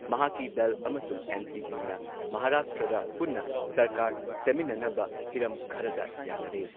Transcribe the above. ꯃꯍꯥꯛꯀꯤ ꯗꯜ ꯑꯃꯁꯨꯡ ꯑꯦꯟ.ꯁꯤ.ꯄꯤꯅ ꯃꯍꯥꯔꯥꯁꯇ꯭ꯔꯗ ꯄꯨꯟꯅ ꯁꯔꯀꯥꯔ ꯁꯦꯝꯃꯤꯟꯅꯅꯕ ꯍꯤꯔꯝ ꯈꯔꯗ ꯌꯥꯟꯅꯔꯦ ꯫